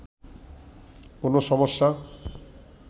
কোনো সমস্যা